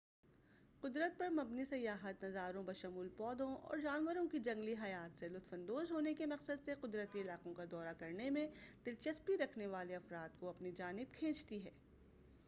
قدرت پر مبنی سیاحت نظاروں بشمول پودوں اور جانوروں کی جنگلی حیات سے لطف اندوز ہونے کے مقصد سے قدرتی علاقوں کا دورہ کرنے میں دلچسپی رکھنے والے افراد کو اپنی جانب کھینچتی ہے